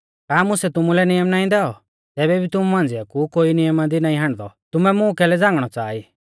का मुसै तुमुलै नियम नाईं दैऔ तैबै भी तुमु मांझ़िया कु कोई नियमा दी नाईं हाण्डदौ तुमै मुं कैलै झ़ांगणौ च़ाहा ई